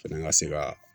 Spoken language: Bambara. Fɛnɛ ka se ka